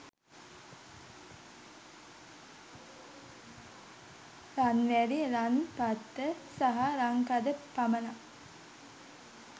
රන් වැලි, රන් පත්‍ර සහ රන් කඳ පමණක්